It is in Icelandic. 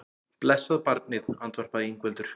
Blessað barnið, andvarpaði Ingveldur.